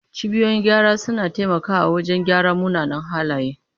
Cibiyoyin gyara suna taimakawa wajen gyara munanan halaye.